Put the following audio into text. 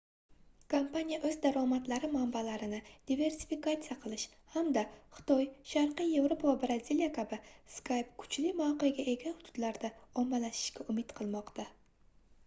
kompaniya oʻz daromadlari manbalarini diversifikatsiya qilish hamda xitoy sharqiy yevropa va braziliya kabi skype kuchli mavqega ega hududlarda ommalashishga umid qilmoqda